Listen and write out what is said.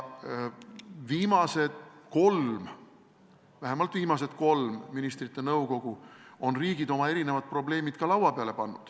Ja vähemalt viimases kolmes ministrite nõukogus on riigid oma erinevad probleemid ka laua peale pannud.